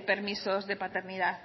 permisos de paternidad